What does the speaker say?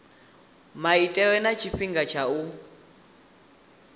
maitele na tshifhinga tsha u